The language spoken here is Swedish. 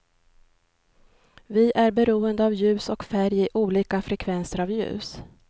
Vi är beroende av ljus och färg är olika frekvenser av ljus.